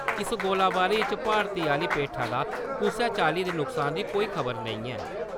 इस गोलीबारी च भारत आह्ली पेठा दा कुसै चाल्ली दे नुकसान दी कोई खबर नेईं ऐ ।